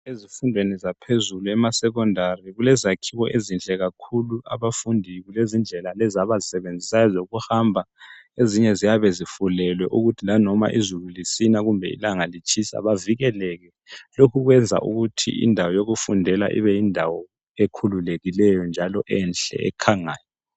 Ezifundweni zaphezulu emasecondary kulezakhiwo ezinhle kakhulu abafundi kulezindlela lezi abazisebenzisayo ezokuhamba ezinye ziyabe zifulelwe ukuthi lanoma izulu lisina kumbe ilanga litshisa bavikeleke lokhu kwenza ukuthi indawo yokufundela ibeyindawo ekhululekileyo njalo enhle ekhangayo.